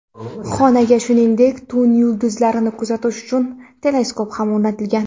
Xonaga, shuningdek, tun yulduzlarni kuzatish uchun teleskop ham o‘rnatilgan.